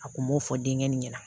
A kun b'o fɔ dengɛnni ɲɛna